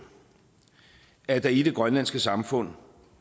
at der i det grønlandske samfund